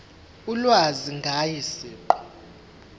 ulwazi ngaye siqu